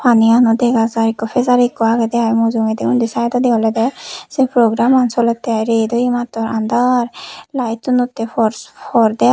paniano dega jai ikko fijari ikko agedey ai mujungedi undi saidodi olodey sei programan solettey ai ret oye mattor andaar laettunnottey for for deai.